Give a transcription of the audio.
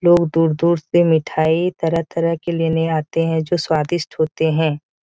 लोग दूर-दूर से मिठाई तरह-तरह के लेने आते है जो स्वादिष्ट होते है।